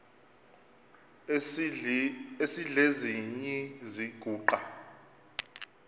esidl eziny iziguqa